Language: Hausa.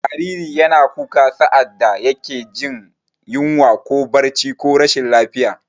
Jariri yana kuka sa'ad da yake jin yunwa ko barci ko rashin lafiya.